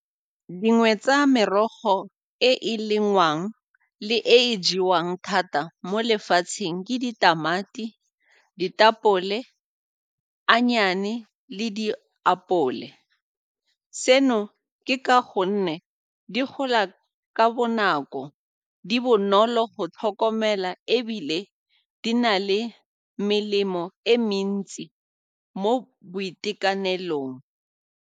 Dingwe tsa merogo e e lengwang le e e jewang thata mo lefatsheng ke ditamati, ditapole, le diapole. Seno ke ka gonne di gola ka bonako, di bonolo go tlhokomela ebile di na le melemo e mentsi mo boitekanelong.